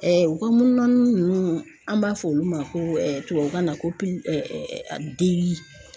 u ka munnun ninnu an b'a fɔ olu ma ko tubabukan na ko de.